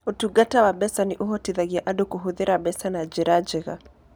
Ũtungata wa mbeca nĩ ũhotithagia andũ kũhũthĩra mbeca na njĩra njega.